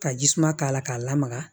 Ka ji suma k'a la k'a lamaga